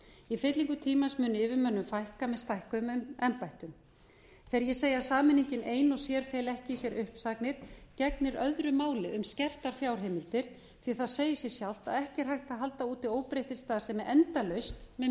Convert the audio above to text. í fyllingu tímans mun yfirmönnum fækka með stækkuðum embættum þegar ég segi að sameiningin ein og sér feli ekki í sér uppsagnir gegnir öðru máli um skertar fjárheimildir því það segir sig sjálft að ekki er hægt að halda úti óbreyttri starfsemi endalaust með